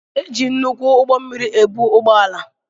E jị nnukwu ụgbọ mmiri ebu ụgbọ ala.